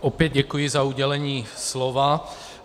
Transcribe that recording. Opět děkuji za udělení slova.